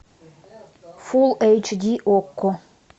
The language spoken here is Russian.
фулл эйч ди окко